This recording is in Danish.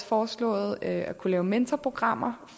foreslået at kunne lave mentorprogrammer